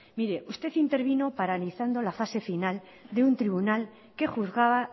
mire usted intervino paralizando la fase final de un tribunal que juzgaba